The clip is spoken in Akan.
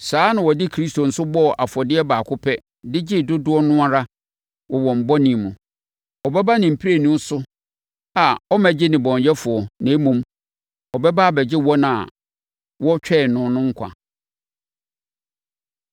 Saa ara na wɔde Kristo nso bɔɔ afɔdeɛ baako pɛ de gyee dodoɔ no ara wɔ wɔn bɔne mu. Ɔbɛba ne mprenu so a ɔmmɛgye nnebɔneyɛfoɔ na mmom, ɔbɛba abɛgye wɔn a wɔretwɛn no no nkwa.